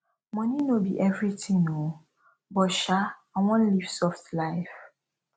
money no be everything oo but sha i wan leave soft life